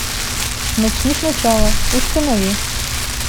начни сначала установи